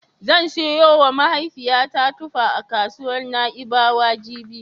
Zan siyowa mahaifiyata tufa a kasuwar Na'ibawa jibi.